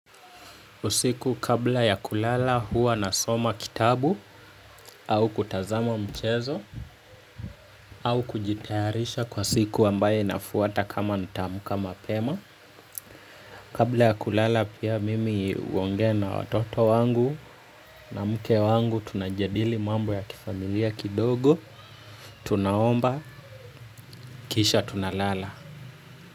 Usiku kabla ya kulala huwa nasoma kitabu au kutazama mchezo au kujitayarisha kwa siku ambaye inafuata kama nitaamka mapema. Kabla ya kulala pia mimi huongea na watoto wangu na mke wangu tunajadili mambo ya kifamilia kidogo, tunaomba, kisha tunalala.